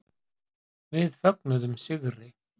Við fögnuðum sigri.